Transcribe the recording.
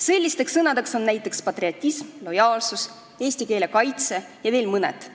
Sellisteks sõnadeks on näiteks "patriotism", "lojaalsus", "eesti keele kaitse" ja veel mõned.